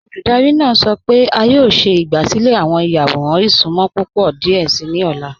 Olúdárì náà sọ́ pẹ̀ẹ̀ è a yọ̀ọ̀ ṣẹ̀ ìgbàsílẹ̀ awọn ìyàwọ̀ràn ìṣùnmọ̀ púpọ̀ díẹ̀ sí ni ọ̀la.